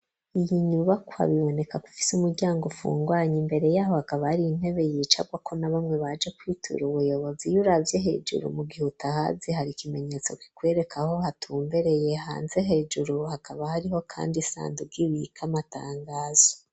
Iyi nyubakwa biboneka kwifise umuryango ufungwanya ,imbere yaho hakaba hariyi intebe yicarwako na bamwe baje kwitura ubuyobozi ,iyuravye hejuru mu gihutahazi, hari ikimenyetso kikwereka ho hatumbereye ,hanze hejuru hakaba hariho kandi isandugo ibika Amatangazo.